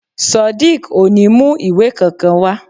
Sodiq ò ní mu ìwé kankan wa